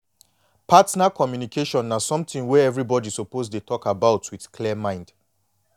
partner communication na something wey everybody suppose dey talk about with clear mind